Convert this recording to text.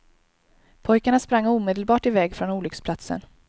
Pojkarna sprang omedelbart i väg från olycksplatsen.